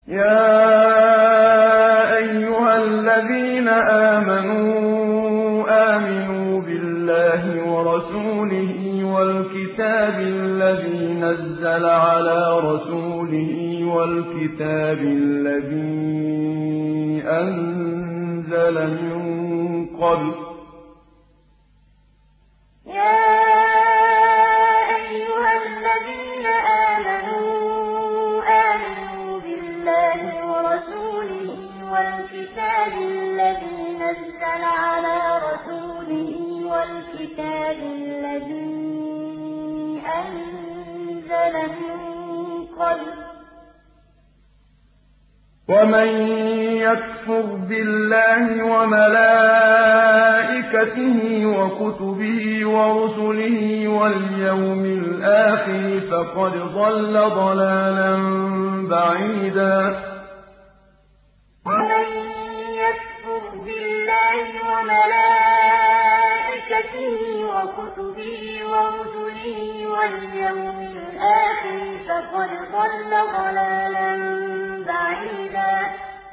يَا أَيُّهَا الَّذِينَ آمَنُوا آمِنُوا بِاللَّهِ وَرَسُولِهِ وَالْكِتَابِ الَّذِي نَزَّلَ عَلَىٰ رَسُولِهِ وَالْكِتَابِ الَّذِي أَنزَلَ مِن قَبْلُ ۚ وَمَن يَكْفُرْ بِاللَّهِ وَمَلَائِكَتِهِ وَكُتُبِهِ وَرُسُلِهِ وَالْيَوْمِ الْآخِرِ فَقَدْ ضَلَّ ضَلَالًا بَعِيدًا يَا أَيُّهَا الَّذِينَ آمَنُوا آمِنُوا بِاللَّهِ وَرَسُولِهِ وَالْكِتَابِ الَّذِي نَزَّلَ عَلَىٰ رَسُولِهِ وَالْكِتَابِ الَّذِي أَنزَلَ مِن قَبْلُ ۚ وَمَن يَكْفُرْ بِاللَّهِ وَمَلَائِكَتِهِ وَكُتُبِهِ وَرُسُلِهِ وَالْيَوْمِ الْآخِرِ فَقَدْ ضَلَّ ضَلَالًا بَعِيدًا